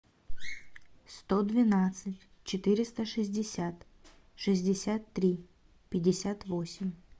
сто двенадцать четыреста шестьдесят шестьдесят три пятьдесят восемь